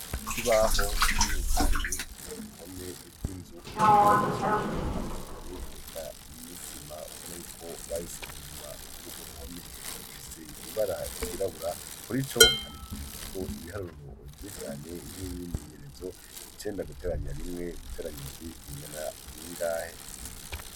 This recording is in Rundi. Ikibaho kinini cyane kiri ku ruhome rw'inzu kubakishijwe amabuye reka n'isima ubona yuko bayisize inyuma ku rugo ruhome gifise ibara ryirabura kuri icyo handikishijwe ko ibiharuro bye cyane nk'imyimenyerezo ikenda guteranya rimwe guteranya indubi bingana bingahe.